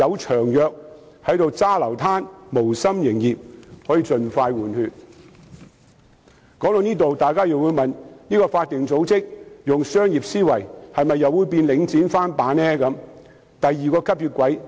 說到這裏，可能大家會問該法定組織採用商業思維，會否變成"領展翻版"、另一個吸血鬼呢？